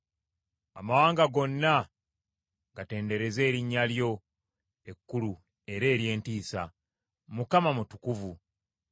Amawanga gonna gatendereze erinnya lyo ekkulu era ery’entiisa. Mukama mutukuvu.